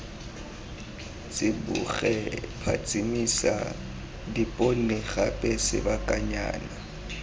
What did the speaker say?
tsiboge phatsimisa dipone gape sebakanyana